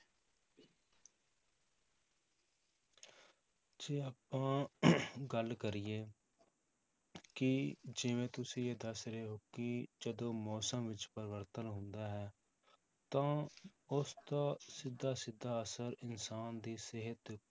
ਜੇ ਆਪਾਂ ਗੱਲ ਕਰੀਏ ਕਿ ਜਿਵੇਂ ਤੁਸੀਂ ਇਹ ਦੱਸ ਰਹੇ ਹੋ ਕਿ ਜਦੋਂ ਮੌਸਮ ਵਿੱਚ ਪਰਿਵਰਤਨ ਹੁੰਦਾ ਹੈ ਤਾਂ ਉਸਦਾ ਸਿੱਧਾ ਸਿੱਧਾ ਅਸਰ ਇਨਸਾਨ ਦੀ ਸਿਹਤ ਦੇ